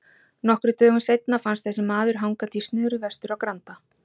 Nokkrum dögum seinna fannst þessi maður hangandi í snöru vestur á Granda.